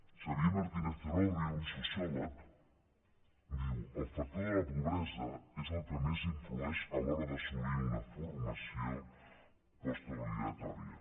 xavier martínez celorrio un sociòleg diu el factor de la pobresa és el que més influeix a l’hora d’assolir una formació postobligatòria